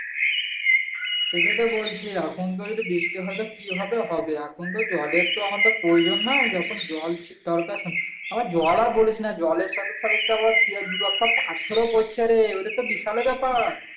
সেটাই তো বলছি এখন যদি বৃষ্টি হয় তবে কি হবে হবে এখন তো জলের তো আমাদের প্রয়োজন নাই যখন জল ছিল দরকার আবার জল আর বলিস না জলের সাথে সাথে তো আবার দু-একটা পাথর ও পড়ছে রে ওটা তো বিশাল ব্যাপার